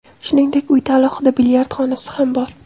Shuningdek, uyda alohida bilyard xonasi ham bor.